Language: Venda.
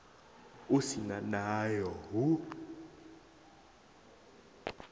u si na ndayo hu